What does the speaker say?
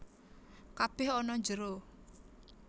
Kabèh ana njero